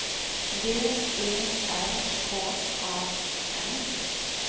V E R K A N